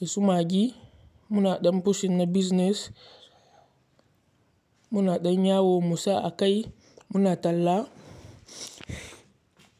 da su maggi. Muna ɗan pushing na business, muna ɗan yawo Musa a kai muna talla.